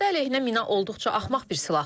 Piyada əleyhinə mina olduqca axmaq bir silahdır.